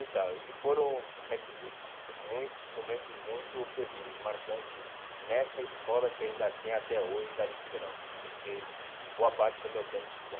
Então, e foram, como é que diz, muito momentos muito felizes, marcantes, nessa escola que ainda tem até hoje, Darí de Queiroz, que eu fiquei boa parte do meu tempo estudando.